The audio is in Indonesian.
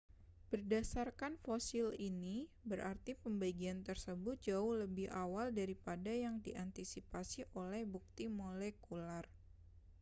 berdasarkan fosil ini berarti pembagian tersebut jauh lebih awal daripada yang diantisipasi oleh bukti molekuler